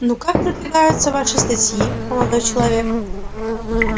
ну как подвигаются ваши статьи молодой человек